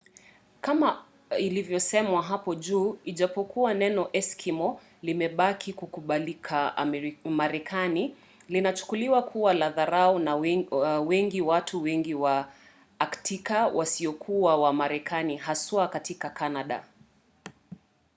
kama ilivyosemwa hapo juu ijapokuwa neno eskimo” limebaki kukubalika marekani linachukuliwa kuwa la dharau na wengi watu wengi wa aktika wasiokuwa wa marekani haswa katika canada